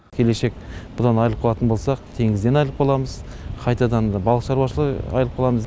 келешек бұдан айырылып қалатын болсақ теңізден айырылып қаламыз қайтадан балық шаруашылығы айырылып қаламыз